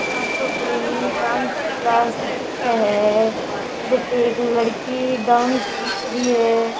आ तो कोई डाँस क्लास दिखे है जटे एक लड़की डाँस सीख री है।